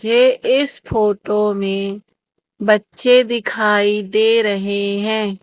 मुझे इस फोटो में बच्चे दिखाई दे रहे हैं।